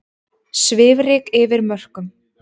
Svifryk yfir mörkum